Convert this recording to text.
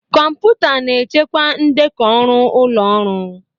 Kọmputa na-echekwa ndekọ ọrụ ụlọọrụ.